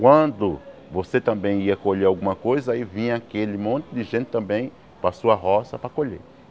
Quando você também ia colher alguma coisa, aí vinha aquele monte de gente também para a sua roça para colher.